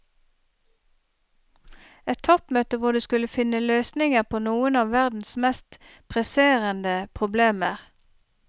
Et toppmøte hvor de skulle finne løsninger på noen av verdens mest presserende problemer.